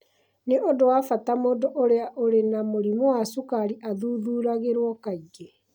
Nĩ ũndũ wa bata mũndũ ũrĩa ũrĩ na mũrimũ wa cũkari athuthuragĩrũo kaingĩ.